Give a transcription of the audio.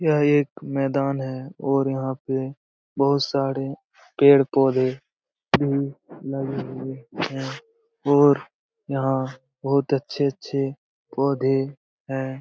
यह एक मैदान है और यहाँ पे बहुत सारे पेड़-पौधे भी लगे हुए हैं और यहाँ बहुत अच्छे-अच्छे पौधे हैं ।